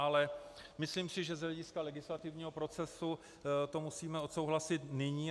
Ale myslím si, že z hlediska legislativního procesu to musíme odsouhlasit nyní.